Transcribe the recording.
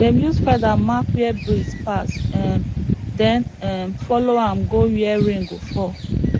dem use feather mark where breeze pass um then um follow am go where rain go fall